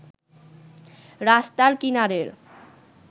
রাস্তার কিনারের